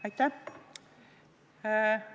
Aitäh!